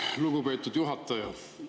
Lugupeetud juhataja!